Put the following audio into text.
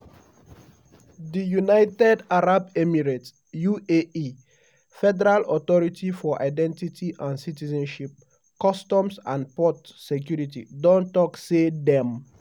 di united arab emirates (uae) federal authority for identity and citizenship customs & port security don tok say dem